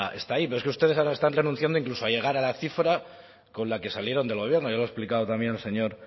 está ahí pero es que ustedes ahora están renunciando incluso a llegar a la cifra con la que salieron del gobierno ya lo ha explicado también el señor